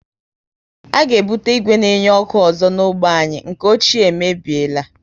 A ga ebute ìgwè na enye ọkụ ọzọ na ógbè anyị, nke ochie e mebiela